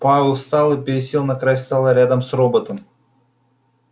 пауэлл встал и пересел на край стола рядом с роботом